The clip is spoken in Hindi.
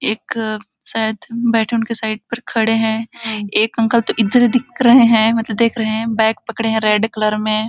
एक शायद बैठे है उनके साइड पर खड़े है एक अंकल तो इधर ही दिख रहॆ है मतलब देख रहे है बैग पकड़े है रेड कलर में--